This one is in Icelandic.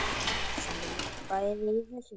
Þau voru bæði í þessu.